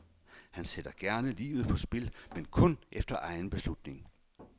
Han sætter gerne livet på spil, men kun efter egen beslutning.